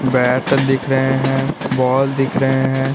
Bat दिख रहे हैं बाल दिख रहे हैं।